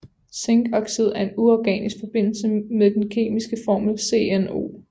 Zinkoxid er en uorganisk forbindelse med den kemiske formel ZnO